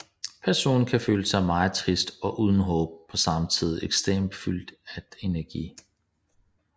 Personen kan føle sig meget trist og uden håb og på samme tid ekstremt fyldt at energi